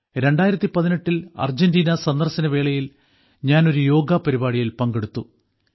2018ൽ Argentina സന്ദർശനവേളയിൽ ഞാൻ ഒരു യോഗ പരിപാടിയിൽ പങ്കെടുത്തു